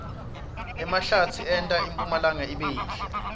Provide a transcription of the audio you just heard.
emahlatsi enta impumlanga ibe yinhle